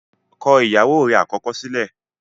kọ ìyàwó rẹ̀ àkọ́kọ́ sílẹ̀!